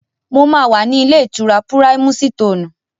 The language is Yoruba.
Mo máa wà ní ilé-ìtura Púráímúsitòònù.